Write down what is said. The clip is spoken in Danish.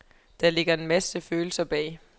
Der ligger en masse følelser bag.